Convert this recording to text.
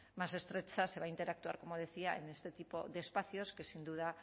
más estrecha se va a interactuar como decía en este tipo de espacios que sin duda